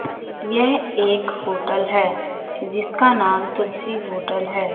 यह एक होटल है जिसका नाम तुलसी होटल है।